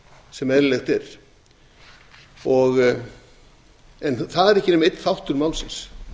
sem eðlilegt er en það er ekki nema einn þáttur málsins